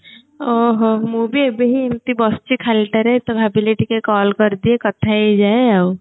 ହ ହଉ ମୁଁ ବି ଏବେ ହିଁ ଏମିତି ବସିଛି ଖାଲିଟାରେ ତ ଭାବିଲି ଟିକେ call କରିଦିଏ କଥା ହେଇଯାଏ ଆଉ